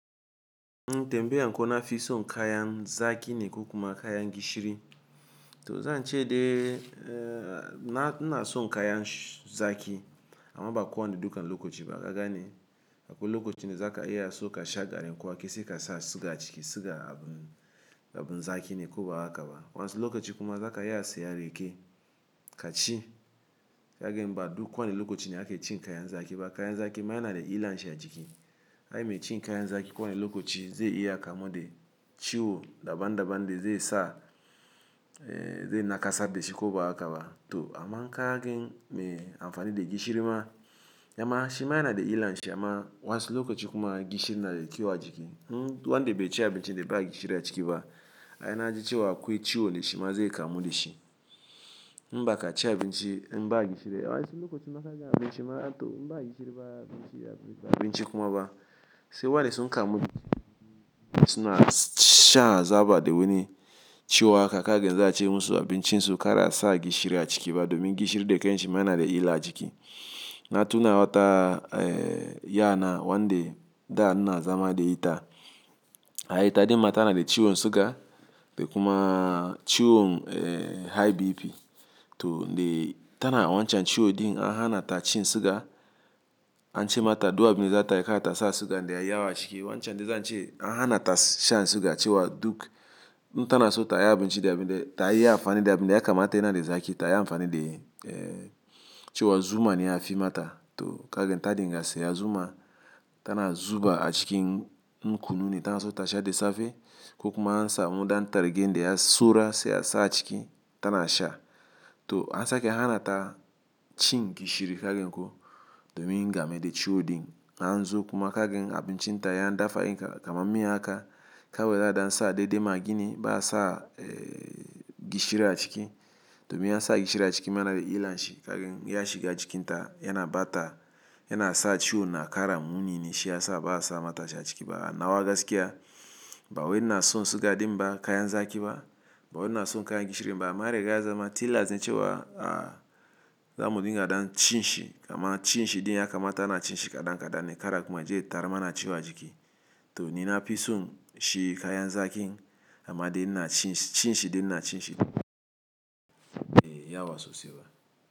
Ntembe ya kon afi son kaya zaki ne ko kuma kaya gishiri. To zan ce de, eh, na, nna son kaya zaki amma ba ko wane dukan lokaci ba. Kaga ne, akwai lokaci ne za ka iya so ka sha garin kowa, kai sai ka sa siga chiki, siga abun, abun zaki ne ko ba a ka ba. Wansi lokaci kuma za ka iya so ka sha reke kachi. Kagen ba duk kwane lokaci ne ake cin kaya zaki ba. Kaya zaki ma yana da illan shi a ciki. Ai mai cin kaya zaki kowane lokaci zai iya kamu de ciwo daban daban de zai sa, eh, zai nakasa de ciko ba a ka ba. To amma kaya ken me amfani de gishiri ma, amma shi ma yana da illan shi amma wasu lokaci kuma gishiri na da kyau a ciki. Hmm, duk wan de bai ci abinci de bai gishiri a ciki ba, ai na ji cewa akwai ciwo ne shi ma zai kamu da shi. Mbaka ci abinci mba gishiri, ai wasu lokaci ma kaga abinci ma to mba gishiri ba abinci, abinci kuma ba. Sai wane son kamu de suna sha zaba de wuni ciwo haka kagen za a ce musu abincin su kara sa gishiri a ciki ba domin gishiri de kai shi ma yana da illa a ciki. Na tuna wata, eh, yana wan de da ina zama de ita. Ai taɗi mata na da ciwon siga de kuma ciwon, eh, high BP. To de tana wancan ciwo din an hana ta cin siga. An ce mata duwawu ne za ta yi ka ta sa siga de ya yawa ciki. Wancan de zan ce an hana ta sha siga cewa duk nta na so ta yi abinci da abin de, ta yi amfani da abin de ya kamata yana de zaki, ta yi amfani de, eh, cewa zuma ne ya fi mata. To kagen ta dinga se ya zuma, tana zuba a cikin nkununi ta na so ta sha de safe ko kuma an sa mudan tare gen de ya sura se ya sa a ciki tana sha. To an sake hana ta cin gishiri kagen ko domin game de ciwo din. An zo kuma kagen abincin ta yan dafa in kamammi haka, kawai za a dan sa deɗe magini ba a sa, eh, gishiri a ciki. Domin in ansa gishiri a ciki ma na da ilar shi kagani ma a cikin ya bawai inasan siga din ba kayan zaki ba ba wai nna son kaya gishiri ba amma dai gaza ma tillas ne cewa, ah, za mu dinga dan cin shi amma cin shi din ya kamata ana cin shi kaɗan kaɗan ne kara kuma je tarama na ciwa ciki. To ni na fi son shi kaya zaki amma din na cin shi, cin shi din na cin shi, eh, ya wasu se ba.